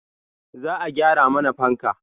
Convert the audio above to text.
Za a gyara mana fanka